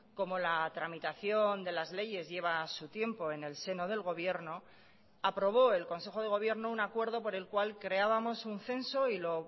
como la tramitación de las leyes lleva a su tiempo en el seno del gobierno aprobó el consejo de gobierno un acuerdo por el cual creábamos un censo y lo